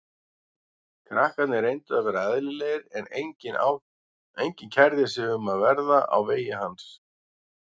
Krakkarnir reyndu að vera eðlilegir en enginn kærði sig um að verða á vegi hans.